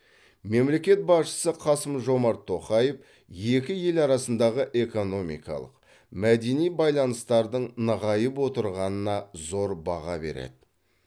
мемлекет басшысы қасым жомарт тоқаев екі ел арасындағы экономикалық мәдени байланыстардың нығайып отырғанына зор баға береді